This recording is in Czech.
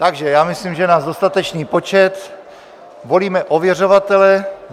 Takže já myslím, že je nás dostatečný počet, volíme ověřovatele.